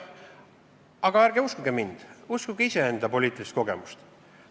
Aga ärge uskuge mind, uskuge iseenda poliitilist kogemust.